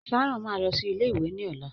Sharon máa lọ sí ilé ìwé ni ọlá.